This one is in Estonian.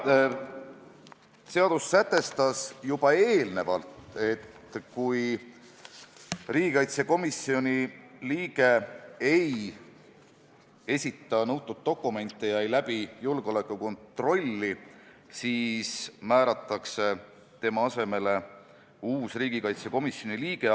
Jah, seadus sätestas juba eelnevalt, et kui riigikaitsekomisjoni liige ei esita nõutud dokumente ega läbi julgeolekukontrolli, siis määratakse tema asemele uus liige.